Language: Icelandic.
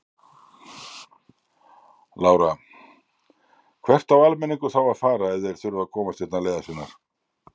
Lára: Hvert á almenningur þá að fara ef þeir þurfa að komast hérna leiðar sinnar?